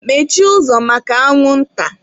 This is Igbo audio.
Mmechie ụzọ maka anwụnta!